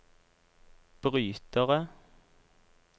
brytere